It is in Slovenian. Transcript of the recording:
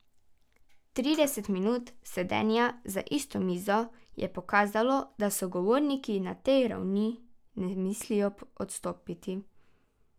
Trideset minut sedenja za isto mizo je pokazalo, da sogovorniki na tej ravni ne mislijo odstopiti.